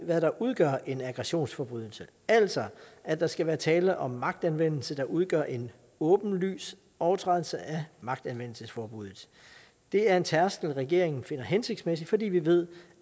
hvad der udgør en aggressionsforbrydelse altså at der skal være tale om magtanvendelse der udgør en åbenlys overtrædelse af magtanvendelsesforbuddet det er en tærskel regeringen finder hensigtsmæssig fordi vi ved